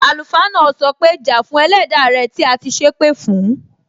Àlùfáà náà sọ pé, Ja fún Ẹlẹda rẹ tí a ti sépè fún!